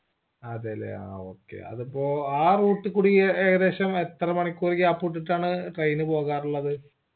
അതെല്ലേ ആ okay അതിപ്പോ ആ route ഇ കൂടി ഏകദേശം എത്ര മണിക്കൂർ gap വിറ്റിട്ടാണ് train പോകാറുള്ളത്